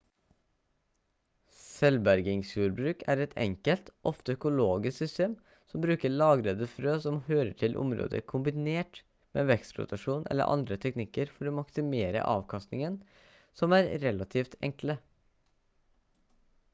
selvbergingsjordbruk er et enkelt ofte økologisk system som bruker lagrede frø som hører til området kombinert med vekstrotasjon eller andre teknikker for å maksimere avkastningen som er relativt enkle